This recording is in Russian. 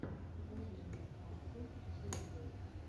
покажи мне артиджойфул